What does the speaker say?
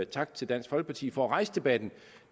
tak til dansk folkeparti for at rejse debatten